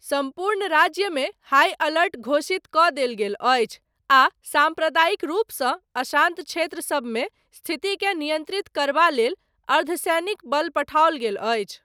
सम्पूर्ण राज्यमे high alert घोषितकऽ देल गेल अछि, आ साम्प्रदायिक रूपसँ अशान्त क्षेत्र सबमे, स्थितिकेँ नियन्त्रित करबा लेल, अर्धसैनिक बल पठाओल गेल अछि।